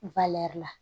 la